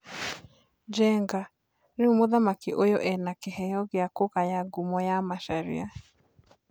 Njenga: Rĩu mũthaki ũyũ ena kĩheo gĩa kũgaya ngumo ya Macharia.